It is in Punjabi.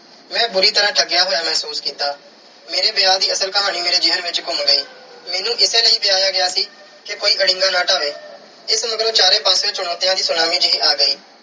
ਮੈਂ ਬੁਰੀ ਤਰ੍ਹਾਂ ਠੱਗਿਆ ਹੋਇਆ ਮਹਿਸੂਸ ਕੀਤਾ। ਮੇਰੇ ਵਿਆਹ ਦੀ ਅਸਲ ਕਹਾਣੀ ਮੇਰੇ ਜ਼ਹਿਨ ਵਿੱਚ ਘੁੰਮ ਗਈ। ਮੈਨੂੰ ਇਸੇ ਲਈ ਵਿਆਹਿਆ ਗਿਆ ਸੀ ਕਿ ਕੋਈ ਅੜਿੰਗਾ ਨਾ ਡਾਹਵੇ। ਇਸ ਮਗਰੋਂ ਚਾਰੇ ਪਾਸਿਉਂ ਚੁਣੌਤੀਆਂ ਦੀ ਸੁਨਾਮੀ ਜਿਹੀ ਆ ਗਈ।